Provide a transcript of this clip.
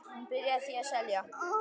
Hann byrjaði því að selja.